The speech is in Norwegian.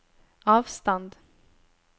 avstand